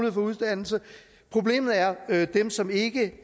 at få uddannelse problemet er er dem som ikke